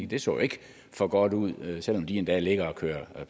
det så jo ikke for godt ud selv om de endda ligger og kører